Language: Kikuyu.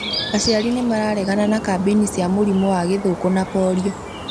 Aciari nĩmararegana na kambĩini cia mũrimũ wa gĩthũkũ na Polio